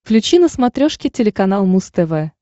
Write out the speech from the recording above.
включи на смотрешке телеканал муз тв